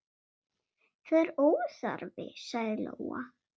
Það er óþarfi, sagði Lóa.